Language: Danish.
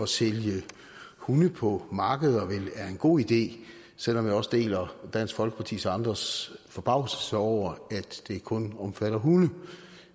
sælge hunde på markeder vel er en god idé selv om jeg også deler dansk folkepartis og andres forbavselse over at det kun omfatter hunde